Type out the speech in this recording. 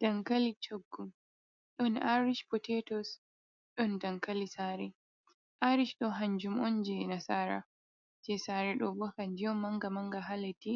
Dankali coggu, ɗon aric poteetos, ɗon dankali saare, aric ɗo, kanjum on jey nasaara, jey saare ɗo bo kanjum on mannga-mannga, haa leddi